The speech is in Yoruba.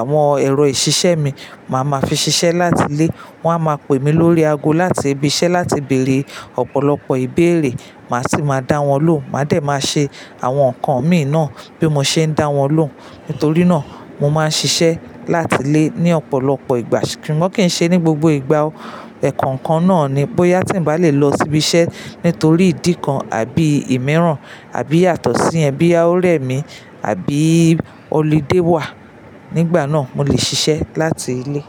àwọn ẹ̀rọ ìṣiṣẹ́ mi, mà á máa fi ṣiṣẹ́ láti ilé. Wọ́n á máa pè mí lórí ago láti ibi iṣẹ́ láti bèrè ọ̀pọ̀lọpọ̀ ìbéèrè. Mà á sì máa dá wọn lóhùn. Mà á dẹ̀ máa ṣe àwọn nǹkan mi náà bí mo ṣe ń dá wọn lóhùn. Nítorí náà, mo máa ń ṣiṣẹ́ láti ilé ní ọ̀pọ̀lọpọ̀ ìgbà. Sugbon kii ṣe ní gbogbo ìgbà o. Ẹ̀ẹ̀kan kan náà ni bóyá tí ń bá lè lọ sí ibi iṣẹ́ nítorí ìdí kan àbí ìmiràn àbí yàtọ̀sí niyen biya ọ̀rẹ́ mi àbí holiday wà. Nígbà náà, mo lè ṣiṣẹ́ láti ilé.